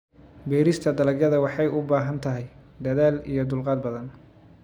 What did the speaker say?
Beerista dalagyada waxay u baahan tahay dadaal iyo dulqaad badan.